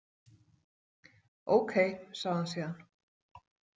Ókei, sagði hann síðan.